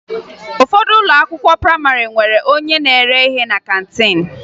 Ụfọdụ ụlọ akwụkwọ prayịmarị nwere onye na-ere ihe na kantiin